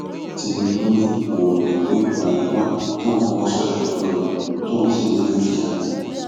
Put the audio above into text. tinúbú ni òun lòún gbé buhari wá tóun fọwọ sọyà fún un tóun sì ni yóò di ààrẹ